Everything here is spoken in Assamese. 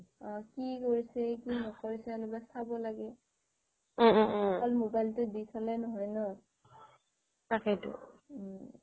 অহ কি কৰিছে কি নকৰিছে মানে চাব লাগে অকল মোবাইলটোৱে দি থলে নহয় ন উম